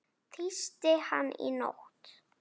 Tísti hann í nótt?